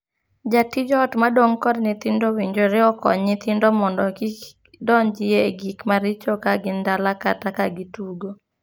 Jatij ot madong' kod nyithindo owinjore okony nyithindo mondo kik donjie e gik maricho ka gin dala kata ka gitugo.